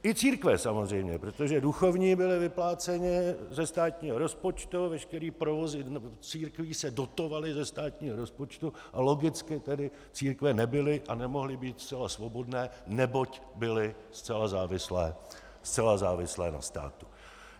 I církve, samozřejmě, protože duchovní byli vypláceni ze státního rozpočtu, veškerý provoz církví se dotoval ze státního rozpočtu, a logicky tedy církve nebyly a nemohly být zcela svobodné, neboť byly zcela závislé na státu.